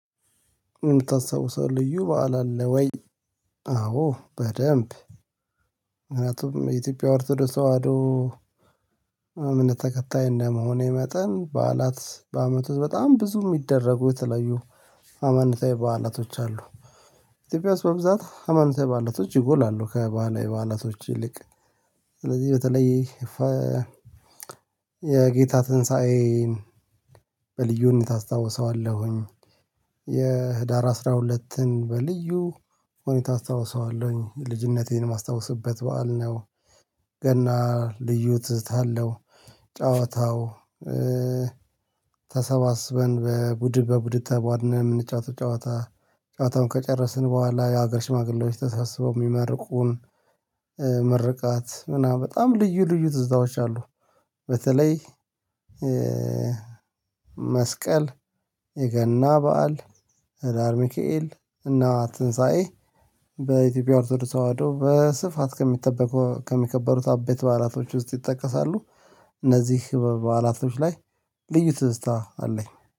የምታስታውሰው ልዩ በዓል አለ ወይ? አዎ በደንብ ምክንያቱም የኢትዮጵያ ኦርቶዶክስ ተዋህዶ እምነት ተከታይ እንደመሆኔ መጠን ባዕላት በአመቱ በጣም ብዙ የሚደረጉ የተለያዩ አመንታዊ ባዕላቶች አሉ። ኢትዮጵያ ውስጥ በብዛት አመንታዊ ባዕላቶች ይጎላሉ ከባህላዊ ባዕላቶች ይልቅ ስለዚህ በተለይ የጌታ ትንሳኤን በልዩነት አስታውሰዋለሁኝ። የህዳር አስራ ሁለትን በልዩ ሁኔታ አስታውሰዋለሁኝ ልጅነቴን የማስታውስበት በዓል ነው። ገና ልዩ ትዝታ አለው። ጨዋታው ተሰባስበን በቡድን በቡድን ተቧድነን የምንጫወተው ጨዋታ ጨዋታውን ከጨረስን በኋላ የሀገር ሽማግሌዎች ተሳስበው የሚመርቁን ምርቃት ምናምን በጣም ልዩ ልዩ ትዝታዎች አሉ። በተለይ መስቀል የገና በዓል ህዳር ሚካኤል እና ትንሳኤ በኢትዮጵያ ኦርቶዶክስ ተዋህዶ በስፋት ከሚጠበቁ ከሚከበሩት አበይት በዓላቶች ውስጥ ይጠቀሳሉ። እነዚህ በዓላቶች ላይ ልዩ ትዝታ አለኝ።